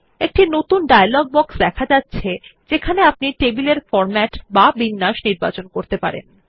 একটি নতুন dialog box দেখা যাচ্ছে যেখানে আপনি টেবিল এর ফরম্যাট বা বিন্যাস নির্বাচন করতে পারবেন